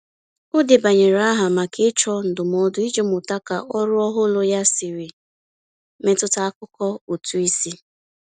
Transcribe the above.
O debanyere aha maka ịchọ ndụmọdụ iji mụta ka ọrụ ọhụrụ ya siri metụta akụkọ ụtụisi.